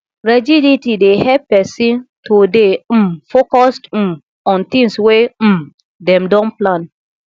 rigidity dey help person to dey um focused um on tins wey um dem don plan